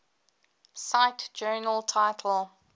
cite journal title